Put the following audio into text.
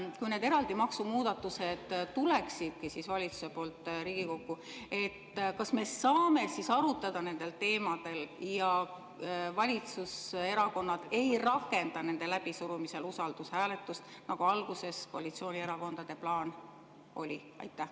Kui need eraldi maksumuudatused tuleksidki valitsuse poolt Riigikokku, kas me saaksime arutada nendel teemadel ja valitsuserakonnad ei rakendaks nende läbisurumisel usaldushääletust, nagu alguses koalitsioonierakondade plaan oli?